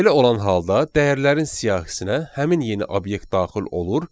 Belə olan halda dəyərlərin siyahısına həmin yeni obyekt daxil olur.